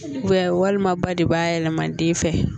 walima ba de b'a yɛlɛma den fɛ